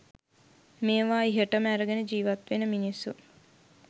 මේවා ඉහටම ඇරගෙන ජීවත් වෙන මිනිස්සු